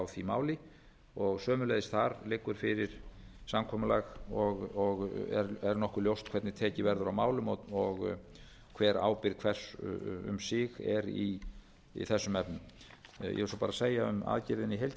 því máli sömuleiðis þar liggur fyrir samkomulag og er nokkuð ljóst hvernig tekið verðu á málum og hver ábyrgð hvers um sig er í þessum efnum ég vil svo bara segja um aðgerðina í heild sinni